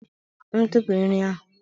M tụpụrụ nri ahụ